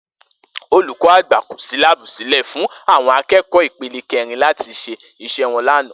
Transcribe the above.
Olùkó̩ àgbà kò s̩í láàbù sílè̩ fún àwo̩n aké̩kò̩ó̩ ipele ké̩rin láti s̩e is̩é̩ wo̩n lánàá